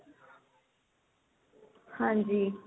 ਹਾਂਜੀ